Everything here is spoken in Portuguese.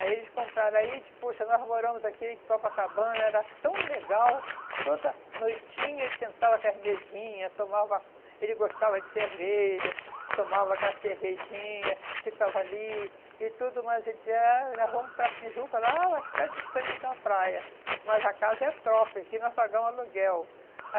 Aí eles compraram aí, diz puxa, nós moramos aqui em Copacabana, era tão legal, toda noitinha ele sentava com as mesinhas, tomava, ele gostava de cerveja, tomava com a cervejinha, ficava ali e tudo, mas ele dizia, ah nós vamos para a Tijuca lá, vai ficar distante da praia, mas a casa é própria, aqui nós pagamos aluguel.